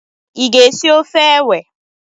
Ị ga-esi ofe ewe?